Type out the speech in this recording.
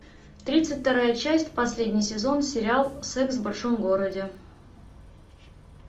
тридцать вторая часть последний сезон сериал секс в большом городе